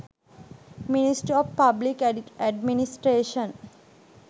ministry of public administration